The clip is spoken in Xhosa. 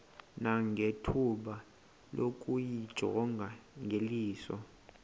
nangethuba lokuyijonga ngeliso